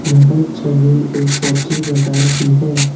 यह छवि एक सब्जी बजार की है।